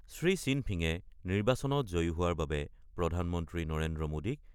শ্ৰী শ্বিনফিঙে নিৰ্বাচনত জয়ী হোৱাৰ বাবে প্ৰধানমন্ত্ৰী নৰেন্দ্ৰ মোদীক